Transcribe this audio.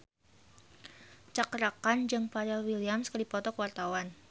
Cakra Khan jeung Pharrell Williams keur dipoto ku wartawan